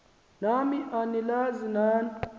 nam anilazi nani